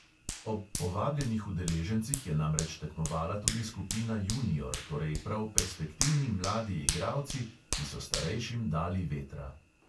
Ob povabljenih udeležencih je namreč tekmovala tudi skupina junior, torej prav perspektivni mladi igralci, ki so starejšim dali vetra.